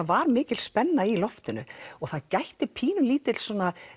var mikil spenna í loftinu og það gætti pínulítils